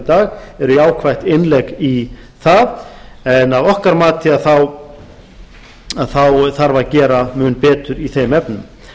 dag er jákvætt innlegg í það en að okkar mati þá þarf að gera mun betur í þeim efnum